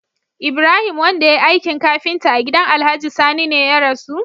Ibrahim wanda yayi aikin kafinta a gidan alhaji sani ne ya rasu?